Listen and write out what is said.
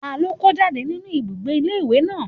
Ta ló kó jáde nínu ibùgbé ilé ìwé náà?